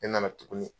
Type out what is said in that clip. Ne nana tuguni